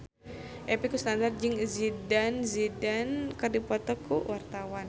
Epy Kusnandar jeung Zidane Zidane keur dipoto ku wartawan